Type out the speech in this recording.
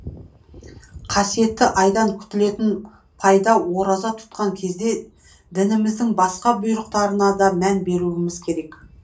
қайдан күтілетін пайда ораза тұтқан кезде дініміздің басқа бұйрықтарына да мән беруіміз керек